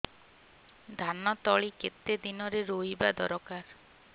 ଧାନ ତଳି କେତେ ଦିନରେ ରୋଈବା ଦରକାର